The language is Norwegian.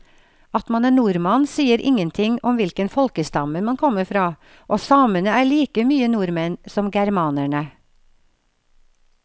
At man er nordmann sier ingenting om hvilken folkestamme man kommer fra, og samene er like mye nordmenn som germanerne.